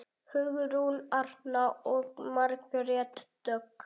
Hugrún Arna og Margrét Dögg.